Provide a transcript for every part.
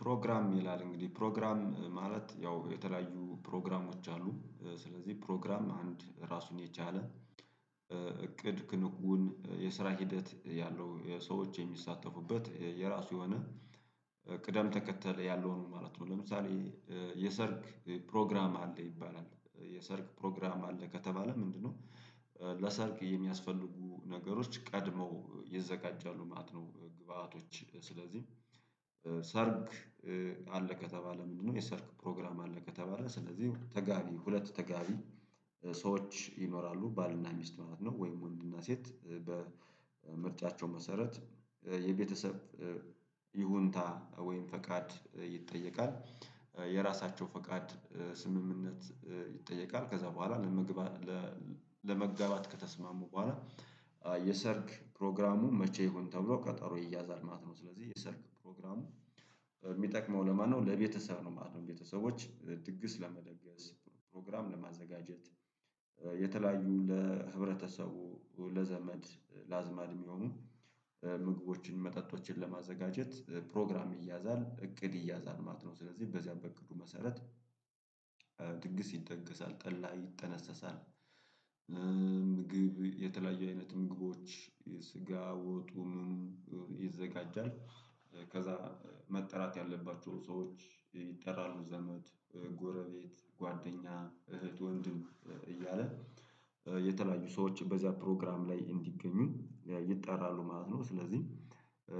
ፕሮግራም ይላል እንግዲህ ፕሮግራም ማለት ያው የተለያዩ ፕሮግራሞች አሉ። ስለዚህ ፕሮግራም አንድ ራሱን የቻለ እቅድ ትንቁን የስራ ሂደት ያለው ሰዎች የሚሳተፉበት የራሱ የሆነ ቅደም ተከተል ያለውን ማለት ነው። ለምሳሌ የሰርክ ፕሮግራም አለ ይባላል የሰርክ ፕሮግራም አለ ከተባለ ምንድነው? ለሰርክ የሚያስፈልጉ ነገሮች ቀድመው ይዘጋጃሉ ማለት ነው። ግብአቶች ስለዚህ ሰርግ አለ ከተባለ ምንድነው? የሰርክ ፕሮግራም አለ ከተባለ ስለዚህ ተጋቢ ሁለት ተጋቢ ሰዎች ይኖራሉ ባልና ሚስት ማለት ነው። ወይም ወንድና ሴት በምርጫቸው መሰረት የቤተሰብ ይሁንታ ወይም ፈቃድ ይጠየቃል የራሳቸው ፈቃድ ስምምነት ይጠየቃል። ከዛ በኋላ ለመግባት ከተስማሙ በኋላ የሰርግ ፕሮግራሙ መቼ ይሁን ተብሎ ከጠሮ ይያዛል ማለት ነው። ስለዚህ የሰርክ ፕሮግራሙ የሚጠቅመው ለማነው ለቤተሰብ ነው ማለት ነው። ቤተሰቦች ድግስ ለመደገስ ፕሮግራም ለማዘጋጀት የተለያዩ ለህብረተሰቡ ለዘመድ ለአዝማድ የሚሆኑ ምግቦችን መጠጦችን ለማዘጋጀት ፕሮግራም ይያዛል እቅድ ይያዛል ማለት ነው። ስለዚህ በዚያ በእቅዱ መሰረት ድግስ ይደገሳል ጠላ ይጠነሰሳል። ምግብ የተለያየ አይነት ምግቦች የስጋ ወጡን ይዘጋጃል። ከዛ መጠራት ያለባቸው ሰዎች ይጠራሉ ዘመድ ጎረቤት ጓደኛ እህት ወንድም እያለ የተለያዩ ሰዎች በዚያ ፕሮግራም ላይ እንዲገኙ ይጠራሉ ማለት ነው። ስለዚህ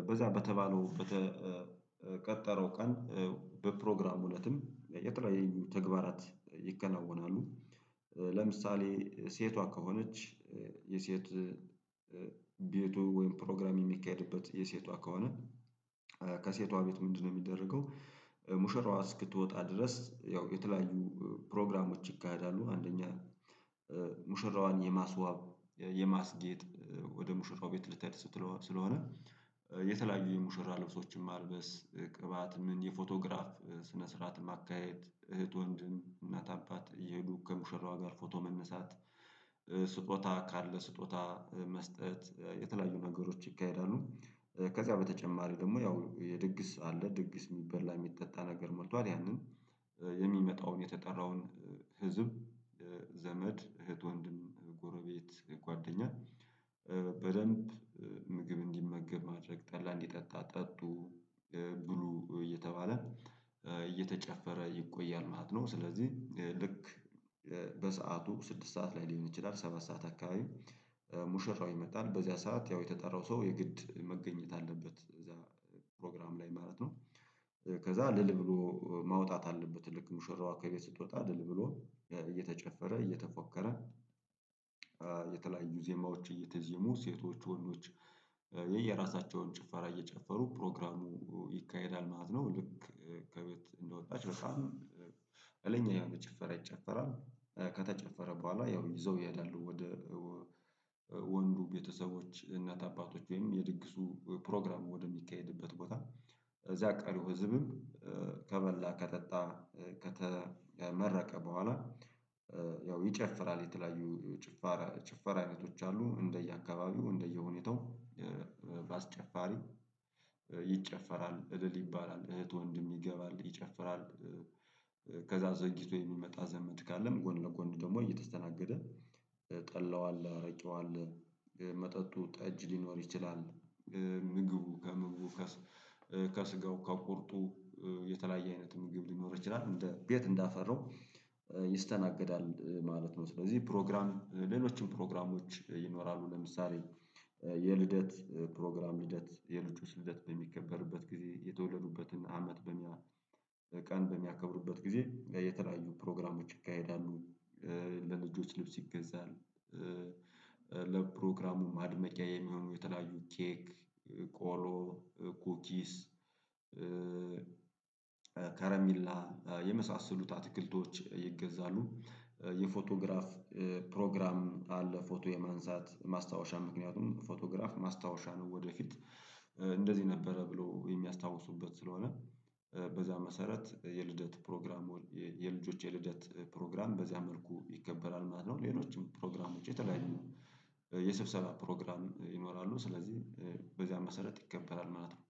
በዛ በተባለው በተቀጠረው ቀን በፕሮግራሙ እለትም የተለያዩ ተግባራት ይከናወናሉ። ለምሳሌ ሴቷ ከሆነች የሴት ቤቱ ወይም ፕሮግራም የሚካሄድበት የሴቷ ከሆነ ከሴቷ ቤት ምንድነው የሚደረገው? ሙሽራዋ እስክትወጣ ድረስ ያው የተለያዩ ፕሮግራሞች ይካሄዳሉ። አንደኛ ሙሽራዋን የማስዋብ የማስጌጥ ወደ ሙሽራው ቤት ልታደርስ ስለሆነ የተለያዩ የሙሽራ ልብሶችን ማልበስ ቅባት ምን የፎቶግራፍ ስነ ስርዓት ማካሄድ እህት ወንድም እናት አባት እየሄዱ ከሙሽራዋ ጋር ፎቶ መነሳት። ስጦታ ካለ ስጦታ መስጠት የተለያዩ ነገሮች ይካሄዳሉ። ከዛ በተጨማሪ ደግሞ ያው የድግስ አለ ድግስ የሚበላ የሚጠጣ ነገር መርቷል ያንን የሚመጣውን የተጠራውን ህዝብ እህት ወንድም ጎረቤት ጓደኛ በደንብ ምግብ እንዲመገብ ማድረግ ጠላ እንዲጠጣ ጠጡ ብሉ እየተባለ እየተጨፈረ ይቆያል ማለት ነው። ስለዚህ ልክ በሰአቱ ስድስት ሰዓት ላይ ሊሆን ይችላል ሰባ ሰዓት አካባቢ ይመጣል በዚያ ሰዓት ያው የተጠራው ሰው የግድ መገኘት አለበት እዛ ፕሮግራም ላይ ማለት ነው። ከዛ እልል ብሎ ማውጣት አለበት ልክ ሙሽራዋ ከቤት ስትወጣ እልል ብሎ እየተጨፈረ እየተፎከረ። የተለያዩ ዜማዎች እየተዜሙ ሴቶች ወንዶች የየራሳቸውን ጭፈራ እየጨፈሩ ፕሮግራሙ ይካሄዳል ማለት ነው። ልክ ከቤት እንደወጣች በጣም ያለ ጭፈራ ይጨፈራል። ከተጨፈረ በኋላ ያው ይዘው ይሄዳሉ ወደ ወንዱ ቤተሰቦች እናት አባቶች ወይም የድግሱ ፕሮግራሙ ወደሚካሄድበት ቦታ። እዚያ ቀሪው ህዝብም ከበላ ከጠጣ ከተመረቀ በኋላ ያው ይጨፍራል የተለያዩ ጭፋር ጭፈራ አይነቶች አሉ እንደየአካባቢው እንደየሁኔታው። በአስጨፋሪ ይጨፈራል እልል ይባላል እህት ወንድም ይገባል ይጨፍራል። ከዛ ዘግይቶ የሚመጣ ዘመድ ካለም ጎን ለጎን ደግሞ እየተስተናገደ ጠላዋል አረቄዋል መጠጡ ጠጅ ሊኖር ይችላል። ምግቡ ከምግቡ ከስጋው ከቁርጡ የተለያየ አይነት ምግብ ሊኖር ይችላል ቤት እንዳፈራው ይስተናገዳል ማለት ነው። ስለዚህ ፕሮግራም ሌሎችን ፕሮግራሞች ይኖራሉ ለምሳሌ የልደት ፕሮግራም ልደት የልጆች ልደት በሚከበርበት ጊዜ የተወለዱበትን አመት በሚያ ቀን በሚያከብሩበት ጊዜ የተለያዩ ፕሮግራሞች ይካሄዳሉ። ለልጆች ልብስ ይገዛሉ ለፕሮግራሙ ማድመቂያ የሚሆኑ የተለያዩ ኬክ ቆሎ ኩኪስ ከረሚላ የመሳሰሉት አትክልቶች ይገዛሉ። የፎቶግራፍ ፕሮግራም አለ ፎቶ የማንሳት ማስታወሻ ምክንያቱም ፎቶግራፍ ማስታወሻ ነው። ወደፊት እንደዚህ ነበረ ብሎ የሚያስታውሱበት ስለሆነ በዛ መሰረት የልደት ፕሮግራም የልጆች የልደት ፕሮግራም በዚያ መልኩ ይከበራል ማለት ነው። ሌሎችም ፕሮግራም ውጪ የተለያዩ የስብሰባ ፕሮግራም ይኖራሉ ስለዚህ በዚያን መሰረት ይከበራል ማለት ነው